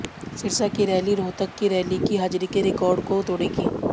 सिरसा की रैली रोहतक की रैली की हाजिरी के रिकार्ड को तोड़ेगी